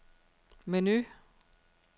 menu